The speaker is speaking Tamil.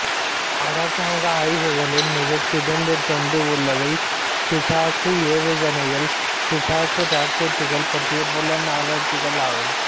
அரசாங்க ஆய்வுகளில் மிகச்சிறந்ததென்று உள்ளவை பிசாசு ஏவுகணைகள்பிசாசு ராக்கெட்டுகள் பற்றிய புலன்ஆராய்ச்சிகள் ஆகும்